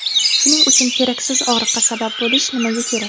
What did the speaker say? Shuning uchun keraksiz og‘riqqa sabab bo‘lish nimaga kerak?